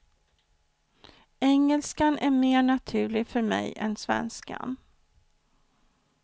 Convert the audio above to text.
Engelskan är mer naturlig för mig än svenskan.